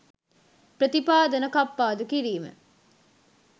ප්‍රතිපාදන කප්පාදු කිරීම